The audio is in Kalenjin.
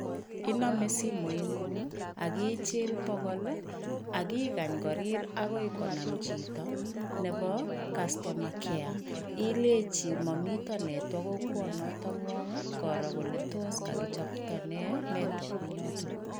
Inome simoingung ak ichil bokol ak ikany korir akoi konam chito nebo customer care, ileji momito nertwok kokwonotongwong, koro kole tos kakichopto nee nertwork eng yoto.